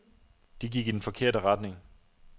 De gik i den forkerte retning.